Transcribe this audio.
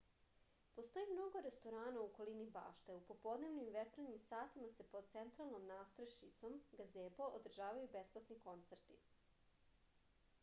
постоји много ресторана у околини баште а у поподневним и вечерњим сатима се под централном надстрешницом газебо одржавају бесплатни концерти